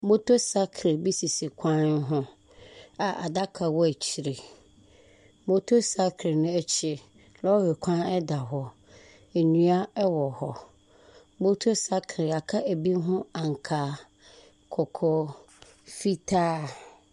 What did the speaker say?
Mmotor cycle bi sisi kwan ho a adaka wɔ akyire. Motor cycle no akyi. Lɔɔre kwan da hɔ. Nnua wɔ hɔ. Motor cycle yɛaka bi ho ankaa, kɔkɔɔ, fitaa.